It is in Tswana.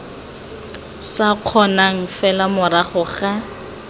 sa kgonang fela morago ga